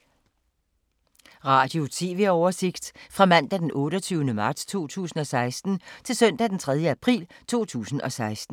Radio/TV oversigt fra mandag d. 28. marts 2016 til søndag d. 3. april 2016